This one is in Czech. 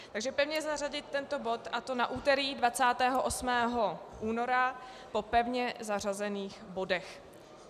Takže pevně zařadit tento bod, a to na úterý 28. února po pevně zařazených bodech.